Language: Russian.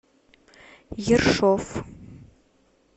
ершов